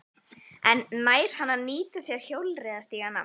En nær hann að nýta sér hjólreiðastígana?